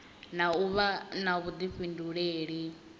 na u vha na vhuḓifhinduleli